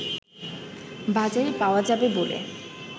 বাজারের পাওয়া যাবে বলে